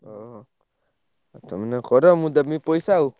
ଓହୋ ତମେ ନ କର ମୁଁ ଦେବି ପଇସା ଆଉ।